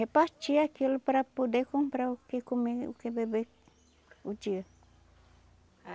Repartia aquilo para poder comprar o que comer, o que beber o dia.